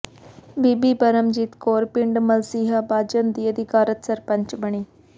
ਬੀਬੀ ਪਰਮਜੀਤ ਕੌਰ ਪਿੰਡ ਮਲਸੀਹਾਂ ਬਾਜਨ ਦੀ ਅਧਿਕਾਰਤ ਸਰਪੰਚ ਬਣੀ